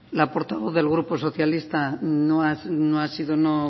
la portavoz del grupo socialista no ha sido no